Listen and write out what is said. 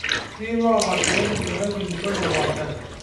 Ketii loolak pee etum likae kilikua opaashari.